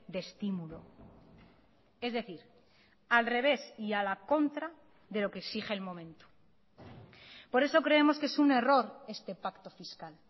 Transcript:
de estímulo es decir al revés y a la contra de lo que exige el momento por eso creemos que es un error este pacto fiscal